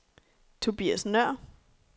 Tobias Nøhr